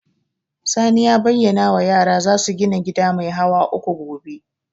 Sani ya bayyana wa yara za su gina gida mai hawa uku gobe